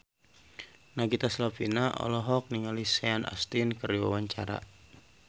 Nagita Slavina olohok ningali Sean Astin keur diwawancara